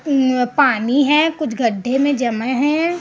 यह पानी है कुछ गड्ढे में जमा है।